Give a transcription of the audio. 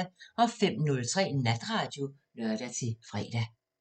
05:03: Natradio (lør-fre)